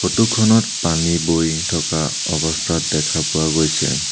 Photo খনত পানী বৈ থকা অৱস্থাত দেখা পোৱা গৈছে।